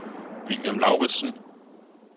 William Lauridsen